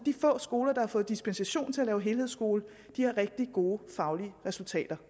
få skoler der har fået dispensationen til at lave helhedsskole har rigtig gode faglige resultater